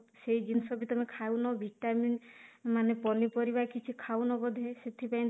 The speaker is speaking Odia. ସେଇ ଜିନିଷ ବି ତମେ ଖାଉନ ଭିଟାମିନ ମାନେ ପନିପରିବା କିଛି ଖାଉନ ବୋଧେ ସେଥିପାଇଁ